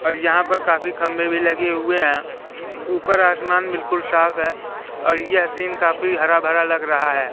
और यहां पर काफी खंभे भी लगे हुए हैं ऊपर आसमान बिल्कुल साफ है और यह सीन काफी हरा भरा लग रहा है।